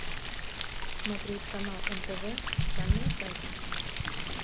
смотреть канал нтв с официального сайта